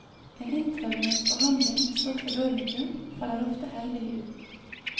En intravenøs behandling med stoffet dormikum faller ofte heldig ut.